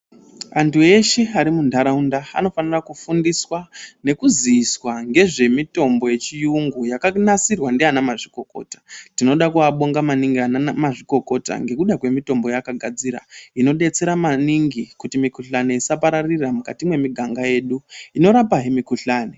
Antu eshe arimundaraunda anofana kufundiswa nekuziviswa ngezvemitombo yechirungu yakanasirwa ndiana mazvikokota ,ndinoda kuvabonga maningi ana mazvikokota ngemitombo yavakagadzira inodetsera maningi kuti mukuhlani isapararira mukati memiganga yedu inoramba he mikuhlani.